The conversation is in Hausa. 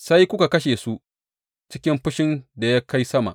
Sai kuka kashe su cikin fushin da ya kai sama.